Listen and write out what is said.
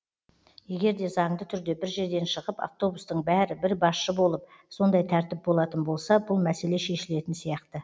егер де заңды түрде бір жерден шығып автобустың бәрі бір басшы болып сондай тәртіп болатын болса бұл мәселе шешілетін сияқты